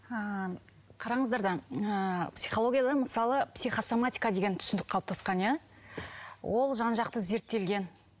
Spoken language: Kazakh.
ы қараңыздар да ы психологияда мысалы психосоматика деген түсінік қалыптасқан иә ол жан жақты зерттелген